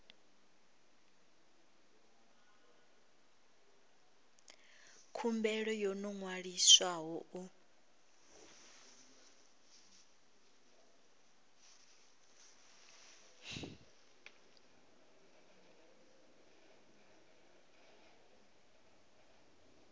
khumbelo yo no ṅwaliswaho u